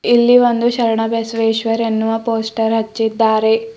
ಇಲ್ಲಿ ಒಂದು ಶರಣಬಸವೇಶ್ವರ್ ಎನ್ನುವ ಪೋಸ್ಟರ್ ಹಚ್ಚಿದ್ದಾರೆ.